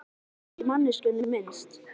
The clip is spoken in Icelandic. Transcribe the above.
Hafði aldrei heyrt á manneskjuna minnst.